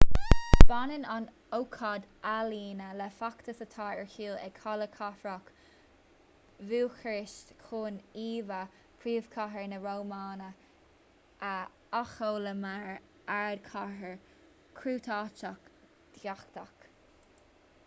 baineann an ócáid ​​ealaíne le feachtas atá ar siúl ag halla cathrach bhúcairist chun íomhá phríomhchathair na rómáine a athsheoladh mar ardchathair chruthaitheach dhathach